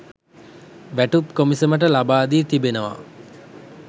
වැටුප් කොමිසමට ලබා දී තිබෙනවා